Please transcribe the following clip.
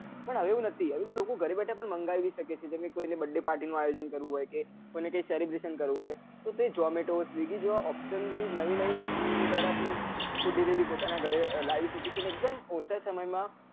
પણ હવે એવું નથી હવે તો લોકો ગરે બેઠા પાનમ મંગાવી શકે છે જેમ કે કોઈ ને birthday party નું આયોજન કરવું હોય કે કોઈ ને કઈ celebration કરવું હોય તો તે ઝોમેટો સ્વિગી જેવા option થી નવી નવી technology દ્વારા તે food delivery તે પોતાના ગરે લાવી શકે અને એક દમ ઓછા સમય, માં